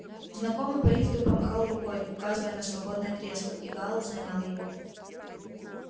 знакомый по лифту помахал рукой указывая на свободное кресло и гаал занял его